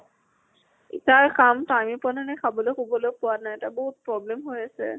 ই তাৰ কাম। time এ পোৱা নাই নে খাবলৈ শুবলৈ পোৱা নাই। তাৰ বহুত problem হৈ আছে।